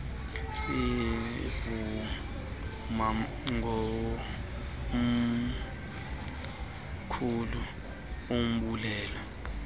sivuma ngomkhulu umbulelo